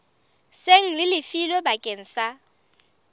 seng le lefilwe bakeng sa